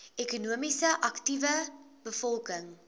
ekonomies aktiewe bevolking